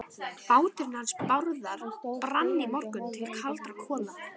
Báturinn hans Bárðar brann í morgun til kaldra kola.